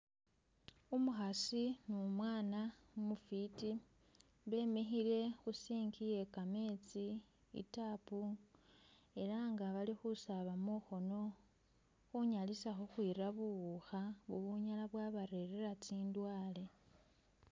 Umukhasi ni umwana umufiti be mikhile khu sink iye ka metsi i tap era nga bali bali khusaaba mungono khunyalisa khukhwira buwukha bu bunyala bwa barerela tsindwaye.